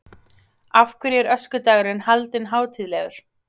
Af hverju er öskudagurinn haldinn hátíðlegur?